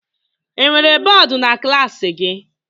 Enwere bọọdụ na klaasị gị?